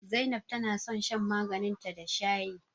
Zainab tana son shan maganin ta da shayi